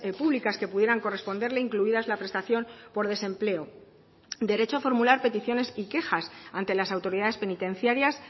públicas que pudieran corresponderle incluidas la prestación por desempleo derecho a formular peticiones y quejas ante las autoridades penitenciarias